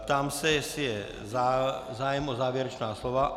Ptám se, jestli je zájem o závěrečná slova.